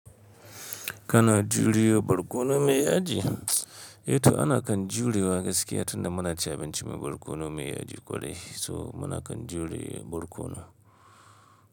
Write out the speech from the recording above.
Kana juriya barkono mai yaji? A to ana kan juriya gaskiya tunda muna ci abinci mai barkono mai yaji kwarai so muna kan juriya barkono.